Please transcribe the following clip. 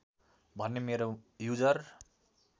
भन्ने मेरो युजर